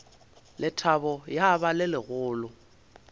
lethabo ya ba le legolo